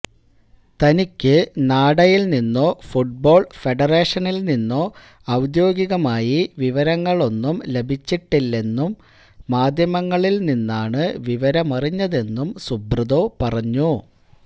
തനിക്കു നാഡയിൽ നിന്നോ ഫുട്ബോൾ ഫെഡറേഷനിൽനിന്നോ ഔദ്യോഗികമായി വിവരങ്ങളൊന്നും ലഭിച്ചിട്ടില്ലെന്നും മാധ്യമങ്ങളിൽനിന്നാണു വിവരമറിഞ്ഞതെന്നും സുബ്രതോ പറഞ്ഞു